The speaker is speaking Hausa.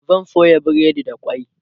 zan soya breadi da kwai